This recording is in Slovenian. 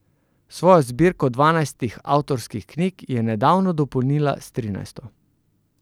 Svojo zbirko dvanajstih avtorskih knjig je nedavno dopolnila s trinajsto.